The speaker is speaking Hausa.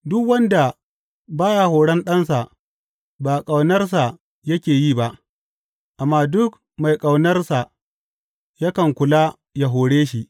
Duk wanda ba ya horon ɗansa ba ƙaunarsa yake yi ba, amma duk mai ƙaunarsa yakan kula ya hore shi.